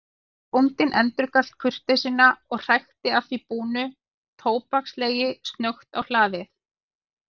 Bóndinn endurgalt kurteisina og hrækti að því búnu tóbakslegi snöggt á hlaðið.